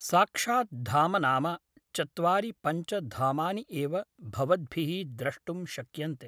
साक्षात् धाम नाम चत्वारि पञ्च धामानि एव भवद्भिः द्रष्टुं शक्यन्ते